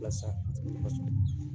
sa a tigi